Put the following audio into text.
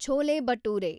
chole bhature